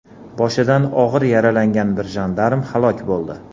Boshidan og‘ir yaralangan bir jandarm halok bo‘ldi.